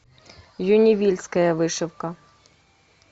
люневильская вышивка